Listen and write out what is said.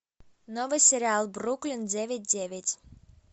новый сериал бруклин девять девять